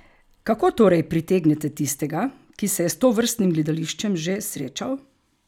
Kako torej pritegnete tistega, ki se je s tovrstnim gledališčem že srečal?